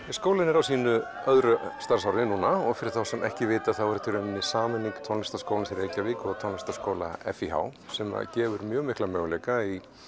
skólinn er á sínu öðru starfsári núna og fyrir þá sem ekki vita þá er þetta sameining Tónlistarskólans í Reykjavík og Tónlistarskóla f í h sem gefur mjög mikla möguleika í